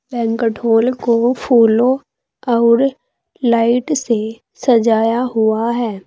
Banquet hall को फूलों आउर लाइट से सजाया हुआ है।